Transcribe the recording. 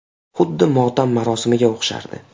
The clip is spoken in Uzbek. Xuddi motam marosimiga o‘xshardi.